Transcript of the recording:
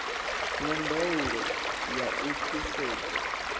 na ndaulo ya u thusedza